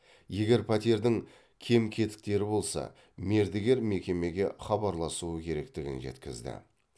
егер пәтердің кем кетіктері болса мердігер мекемеге хабарласуы керектігін жеткізді